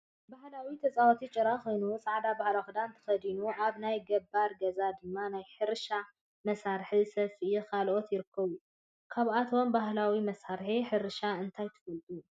ባህላዊ ተፃዋታ ጭራ ኮይኑ ፃዕዳ ባህላዊ ክዳን ተከዲኑኣብ ናይ ገባር ገዛ ድማ ናይ ሕርሻ መሳርሒን ሰፍኢን ከልኦትን ይርከቡ ።ካብቶም ባህላዊ መሳርሒ ሕርሻ እንታይ ትፈልጡ?